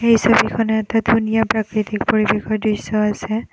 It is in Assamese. এই ছবিখনত এটা ধুনীয়া প্ৰাকৃতিক পৰিৱেশৰ দৃশ্য আছে।